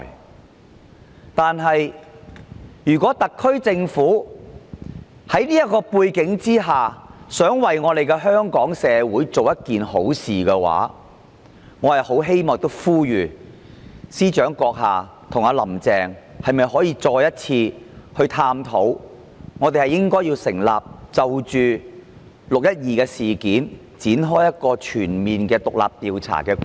然而，在這樣的背景下，如果特區政府想為香港社會做一件好事，我很希望亦呼籲司長閣下和"林鄭"，你們可否再一次探討就"六一二"事件展開全面的獨立調查？